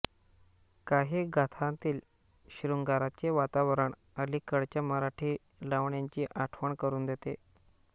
काही गाथांतील शृंगाराचे वातावरण अलीकडच्या मराठी लावण्यांची आठवण करून देते